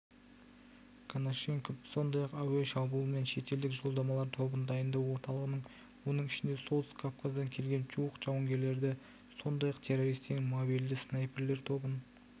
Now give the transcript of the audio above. конашенков сондай-ақ әуе шабуылымен шетелдік жалдамалар тобын дайындау орталығының оның ішінде солтүстік кавказдан келген жуық жауынгерлерді сондай-ақ террористердің мобильді снайперлер тобын